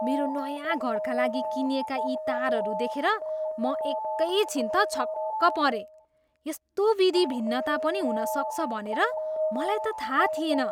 मेरो नयाँ घरका लागि किनिएका यी तारहरू देखेर म एकैछिन त छक्क परेँ। यस्तो विधि भिन्नता पनि हुन सक्छ भनेर मलाई त थाहा थिएन।